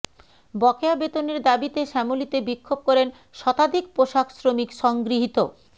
বকেয়া বেতনের দাবিতে শ্যামলীতে বিক্ষোভ করেন শতাধিক পোশাক শ্রমিক সংগৃহীত